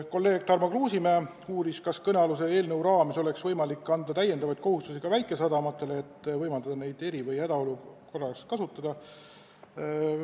Kolleeg Tarmo Kruusimäe uuris, kas kõnealuse eelnõu kohaselt oleks võimalik anda täiendavaid kohustusi ka väikesadamatele, et võimaldada neid eri- või hädaolukorras kasutada.